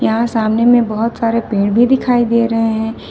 यहां सामने में बहुत सारे पेड़ भी दिखाई दे रहे हैं।